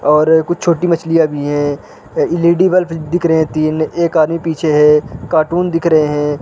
और कुछ छोटी मछलियां भी हैं एल.ई.डी. बल्ब दिख रहे हैं तीन एक आदमी पीछे हैं कार्टून दिख रहे हैं |